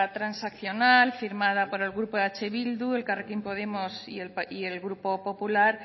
transaccional firmada por el grupo eh bildu elkarrekin podemos y el grupo popular